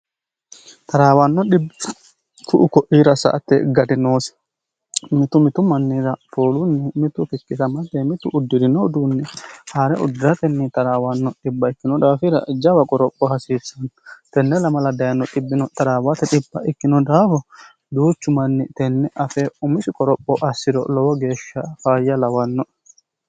taraawaanno dhibiku'u koiira sa"atte gadinoosi mitu mitu mannira foolunni mitu kikkisamatey mitu uddi'rino uduunni haa're uddiratenni taraawaanno dhb ikkino daafira jawa qoropho hasiissanno tenne lamala dayino dhibbino taraawaaha ikkino daafo duuchu manni tenne afe umisi qoropho assi'ro lowo geeshsha faayya lawannoe